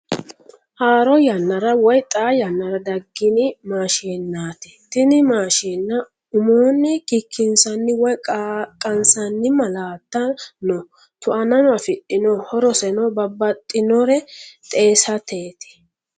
Haaro yannara woy xaa yannara daggini maashinnaati. Tini maashine umoonni kikkinsanni woy qaqqasanni malaatta no tuanano afidhino horoseno babbaxinore xeesateeti.